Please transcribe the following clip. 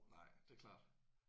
Nej det er klart